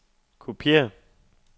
kopiér